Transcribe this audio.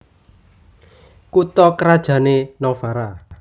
Kutha krajané Novara